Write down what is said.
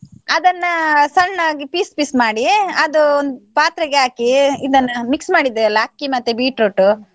ಅದನ್ನ ಸಣ್ಣಾಗಿ piece piece ಮಾಡಿ ಅದು ಒಂದ್ ಪಾತ್ರೆಗೆ ಹಾಕಿ ಇದನ್ನ mix ಮಾಡಿದ್ದೇವೆ ಅಲ್ಲ ಅಕ್ಕಿ ಮತ್ತೆ beetroot .